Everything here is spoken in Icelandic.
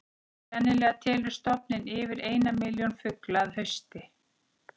Sennilega telur stofninn yfir eina milljón fugla að hausti.